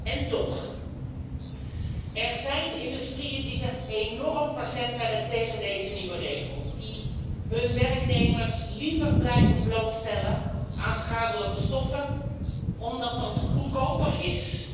En toch, er zijn industrieën die zich enorm verzet hebben tegen deze nieuwe regels, die hun werknemers liever blijven blootstellen aan schadelijke stoffen, omdat dat goedkoper is.